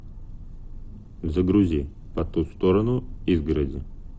загрузи по ту сторону изгороди